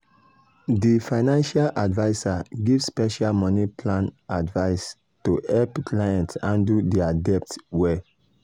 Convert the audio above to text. di financial adviser give special money plan advice to help clients handle dir debt well.